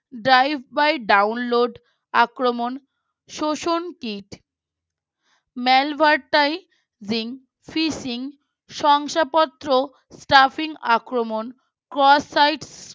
Drive By Download আক্রমণ শোষণ kit Malwardaiving, Fishing শংসাপত্র Traffic আক্রমণ Cross Site